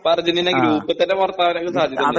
ചിലപ്പോ Argentina group തന്നെ പുറത്താകാൻ ഒക്കെ സാധ്യത ഉണ്ട്